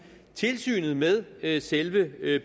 tilsynet med selve